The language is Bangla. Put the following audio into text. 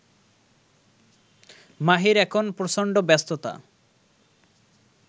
মাহির এখন প্রচণ্ড ব্যস্ততা